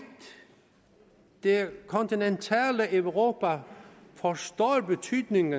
det kontinentale europa forstår betydningen